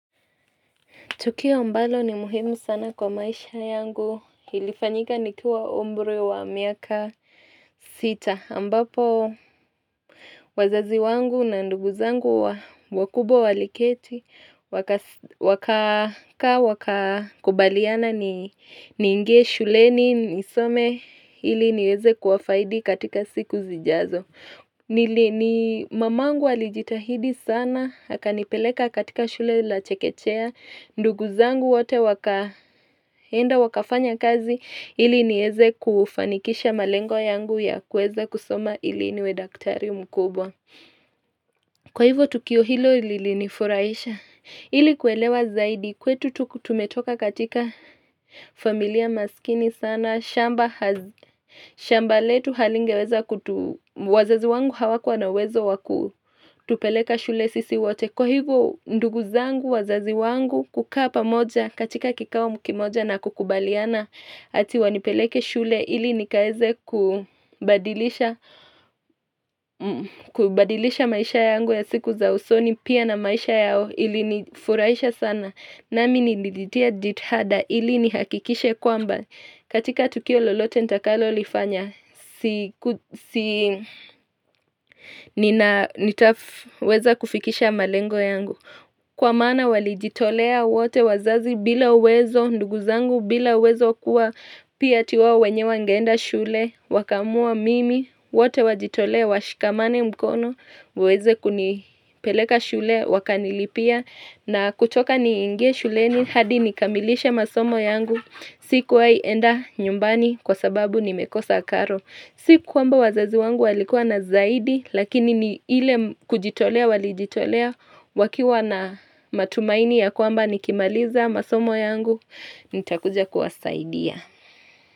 Tukio ambalo ni muhimu sana kwa maisha yangu, ilifanyika nikiwa umri wa miaka sita, ambapo wazazi wangu na ndugu zangu wakubwa waliketi, wakakaa wakakubaliana niinge shuleni nisome ili niweze kuwafaidi katika siku zijazo. Ni mamangu alijitahidi sana akanipeleka katika shule la chekechea ndugu zangu wote wakaenda wakafanya kazi ili nieze kufanikisha malengo yangu ya kueza kusoma ili niwe daktari mkubwa Kwa hivyo tukio hilo lilinifurahisha ili kuelewa zaidi kwetu tumetoka katika familia maskini sana shamba shamba letu halingeweza wazazi wangu hawakuwa na uwezo waku kutupeleka shule sisi wote. Kwa hivo ndugu zangu wazazi wangu kukaa pamoja katika kikao kimoja na kukubaliana ati wanipeleke shule ili nikaeze kubadilisha kubadilisha maisha yangu ya siku za usoni pia na maisha yao ilinifurahisha sana. Nami nilijitia jitihada ili nihakikishe kwamba katika tukio lolote nitakalolifanya, nitaweza kufikisha malengo yangu. Kwa maana walijitolea wote wazazi bila uwezo, ndugu zangu bila uwezo kuwa, pia ati wao wenyewe wangeenda shule, wakaamua mimi, wote wajitolee, washikamane mkono, waweze kunipeleka shule, wakanilipia, na kutoka niingie shuleni, hadi nikamilishe masomo yangu, sikuwahi enda nyumbani kwa sababu nimekosa karo. Si kwamba wazazi wangu walikuwa na zaidi lakini ni ile kujitolea walijitolea wakiwa na matumaini ya kwamba nikimaliza masomo yangu nitakuja kuwasaidia.